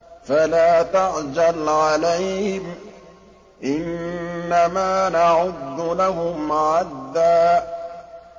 فَلَا تَعْجَلْ عَلَيْهِمْ ۖ إِنَّمَا نَعُدُّ لَهُمْ عَدًّا